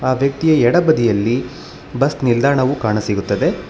ಅದಕ್ಕೆ ಎಡ ಬದಿಯಲ್ಲಿ ಬಸ್ ನಿಲ್ದಾಣವು ಕಾಣಸಿಗುತ್ತದೆ.